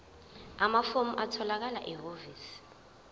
amafomu atholakala ehhovisi